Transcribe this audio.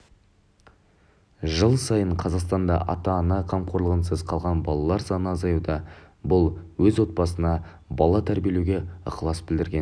жыл сайын қазақстанда ата-ана қамқорлығынсыз қалған балалар саны азаюда бұл өз отбасына бала тәрбиелеуге ықылас білдірген